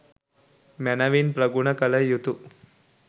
මැනවින් ප්‍රගුණ කළ යුතුය.